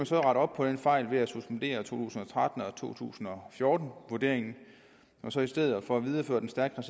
så rette op på den fejl ved at suspendere to tusind og tretten og to tusind og fjorten vurderingen og så i stedet for videreføre den stærkt